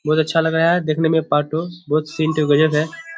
बहुत अच्छा लग रहा है देखने में पार्ट टू बहुत सीन तो गजब है।